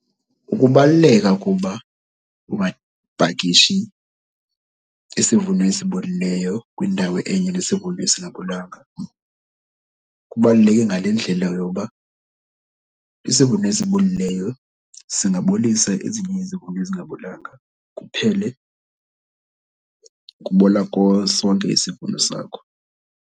Ukubaluleka koba ungapakishi isivuno esibolileyo kwindawo enye nesivuno esingabolanga kubaluleke ngale ndlela yoba isivuno esibolileyo singabolisa ezinye izivuno ezingabolanga, kuphele kubola sonke isivuno sakho.